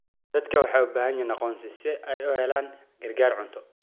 Dadku waxay u baahan yihiin aqoonsi si ay u helaan gargaar cunto.